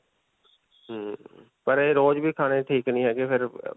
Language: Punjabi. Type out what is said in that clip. ਹਮਮ ਪਰ ਇਹ ਰੋਜ ਵੀ ਖਾਨੇ ਠੀਕ ਨਹੀਂ ਹੈਗੇ ਫਿਰ.